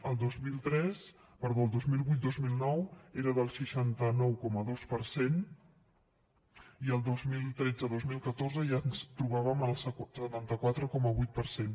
el dos mil vuit dos mil nou era del seixanta nou coma dos per cent i el dos mil tretze dos mil catorze ja ens trobàvem al setanta quatre coma vuit per cent